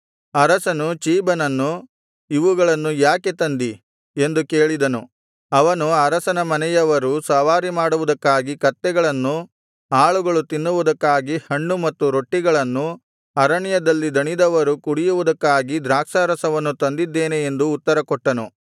ಅರಸನು ಚೀಬನನ್ನು ಇವುಗಳನ್ನು ಯಾಕೆ ತಂದಿ ಎಂದು ಕೇಳಿದನು ಅವನು ಅರಸನ ಮನೆಯವರು ಸವಾರಿಮಾಡುವುದಕ್ಕಾಗಿ ಕತ್ತೆಗಳನ್ನು ಆಳುಗಳು ತಿನ್ನುವುದಕ್ಕಾಗಿ ಹಣ್ಣು ಮತ್ತು ರೊಟ್ಟಿಗಳನ್ನು ಅರಣ್ಯದಲ್ಲಿ ದಣಿದವರು ಕುಡಿಯುವುದಕ್ಕಾಗಿ ದ್ರಾಕ್ಷಾರಸವನ್ನು ತಂದಿದ್ದೇನೆ ಎಂದು ಉತ್ತರಕೊಟ್ಟನು